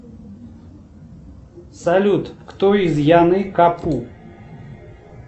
салют кто из яны капу